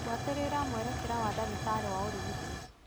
Buatĩrĩra mwerekera wa ndagĩtarĩ wa ũrigiti.